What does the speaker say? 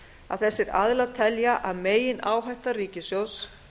að þessir aðilar telja að megináhætta ríkissjóðs